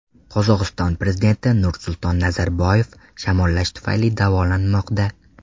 Qozog‘iston prezidenti Nursulton Nazarboyev shamollash tufayli davolanmoqda.